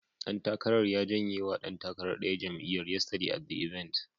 Ɗan takarar ya jenye wa ɗan takarar ɗaya jam'iyyar, yesterday at the event.